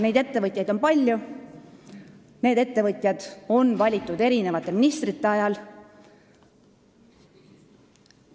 Neid ettevõtteid on palju ja nad on valitud erinevate ministrite ametisoleku ajal.